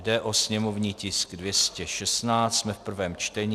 Jde o sněmovní tisk 216, jsme v prvém čtení.